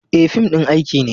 E, fim ɗin aiki ne.